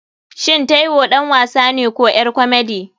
Shin taiwo ɗan wasane ko ƴar komedi?